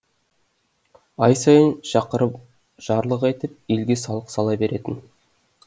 ай сайын шақырып жарлық айтып елге салық сала беретін